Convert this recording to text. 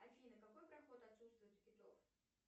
афина какой проход отсутствует у китов